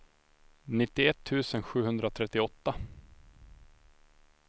nittioett tusen sjuhundratrettioåtta